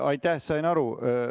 Aitäh, sain aru.